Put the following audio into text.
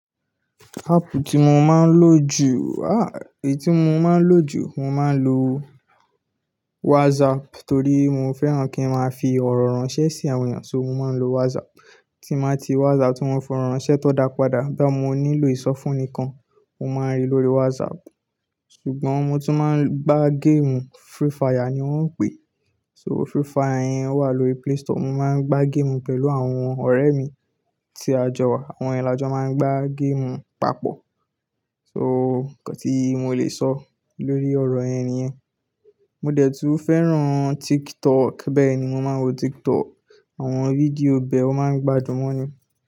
Áàpù tí mo máa ń lò jù, ah! Èyí tí mo máa ń lò jù, mo máa ń lo WhatsApp torí mo fẹ́ràn kí n máa fi ọ̀rọ̀ ránṣẹ́ sí àwọn èèyàn, so mo máa ń lo WhatsApp. Tí n bá ti WhatsApp tí mo fi ọ̀rọ̀ ránṣẹ́ tọ́n dá padà, bóyá mo nílò ìsọfún ńìkan, mo máa ń rí lórí WhatsApp. Ṣùgbọ́n mo tún máa ń gbá géèmù, free fire ni wọ́n ń pè é. So free fire wà lórí Play Store. Mo máa ń gbá géèmù pẹ̀lú àwọn ọ̀rẹ́ mi tí a jọ wà. Àwọn yẹn lajọ̀ máa ń gbá géèmù papọ̀. So nǹkan tí mo lè sọ lórí ọ̀rọ̀ yẹn niyẹ̀n. Mo dẹ̀ tún fẹ́ràn TikTok bẹ́ẹ̀ ni mo máa ń wo TikTok. Àwọn fídíò bẹ wọ́n máa ń gbadún mọ̀ ni.